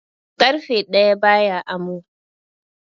Ƙarfe ɗaya ba ya amo.